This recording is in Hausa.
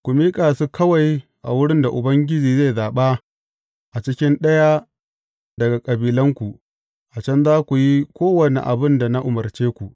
Ku miƙa su kawai a wurin da Ubangiji zai zaɓa a cikin ɗaya daga kabilanku, a can za ku yi kowane abin da na umarce ku.